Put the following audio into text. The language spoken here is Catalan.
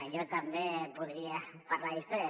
jo també podria parlar d’història